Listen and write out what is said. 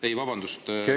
Ei, vabandust!